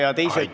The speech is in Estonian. Aitäh!